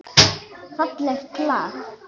Fallegt lag.